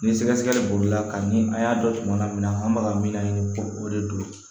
Ni sɛgɛsɛgɛli bolila ka ni an y'a dɔn tuma na an b'a ka mina ɲini ko o de don